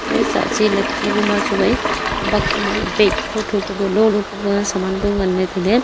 ya chahchi lapchi bu ma chu ai bakh ma bag tho tho lo lo puma samaan bu ngan la tailey.